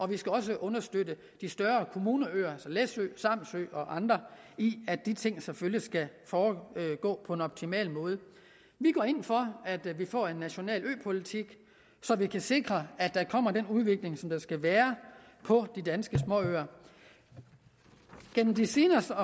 vi skal også understøtte de større kommuneøer altså læsø samsø og andre i at de ting selvfølgelig skal foregå på en optimal måde vi går ind for at vi får en national øpolitik så vi kan sikre at der kommer den udvikling der skal være på de danske småøer gennem de seneste